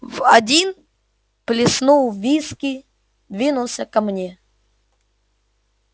в один плеснул виски двинулся ко мне